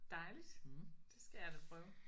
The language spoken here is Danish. Dejligt det skal jeg da prøve